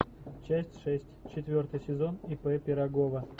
часть шесть четвертый сезон ип пирогова